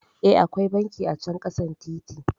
Eh, akwai banki acan ƙasan titi